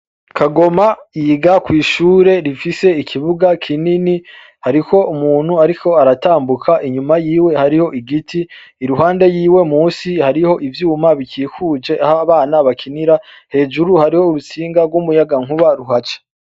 Kagoma yiga kw'ishure rifise ikibuga kinini. Hariho umuntu ariko aratambuka inyuma yiwe hariho igiti, iruhande yiwe musi hariho ivyuma bikikuje aho abana bakinira. Hejuru hariho urutsinga rw'umuyagankuba ruhaca.